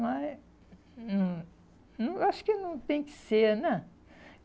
Mas hum não eu acho que não tem que ser, né?